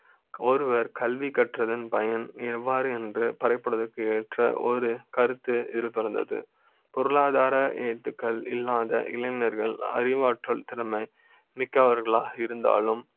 ஒருவர் கல்வி கற்றது பயன் எவ்வாறு என்று பரப்புவதற்கு ஏற்ற ஒரு கருத்து இருந்தது பொருளாதார எழுத்துக்கள் இல்லாத இளைஞர்கள் அறிவாற்ற ல், திறமை மிக்க வர்களாக இருந்தாலும்